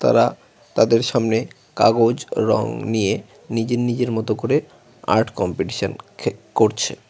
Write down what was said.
তারা তাদের সামনে কাগজ রং নিয়ে নিজের নিজের মতো করে আর্ট কম্পিটিশন করছে।